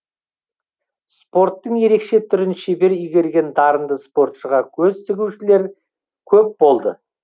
спорттың ерекше түрін шебер игерген дарынды спортшыға көз тігушілер көп болды